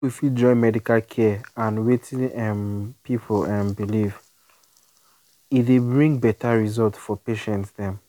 if we fit join medical care and wetin um people um believe e dey bring better result for patient dem